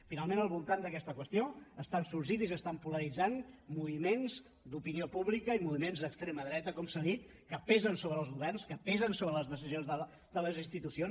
finalment al voltant d’aquesta qüestió estan sorgint i s’estan polaritzant moviments d’opinió pública i moviments d’extrema dreta com s’ha dit que pesen sobre els governs que pesen sobre les decisions de les institucions